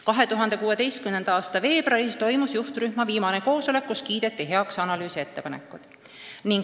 2016. aasta veebruaris toimus juhtrühma viimane koosolek, kus kiideti heaks analüüsi ettepanekud.